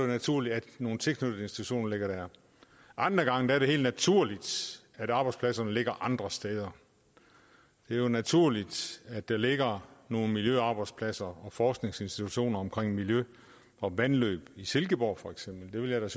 naturligt at nogle tilknyttede institutioner ligger der andre gange er det helt naturligt at arbejdspladserne ligger andre steder det er naturligt at der ligger nogle miljøarbejdspladser og forskningsinstitutioner omkring miljø og vandløb i silkeborg for eksempel jeg